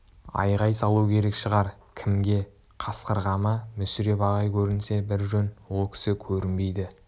айғай салу керек шығар кімге қасқырға ма мүсіреп ағай көрінсе бір жөн ол кісі көрінбейді